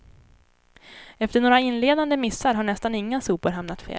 Efter några inledande missar har nästan inga sopor hamnat fel.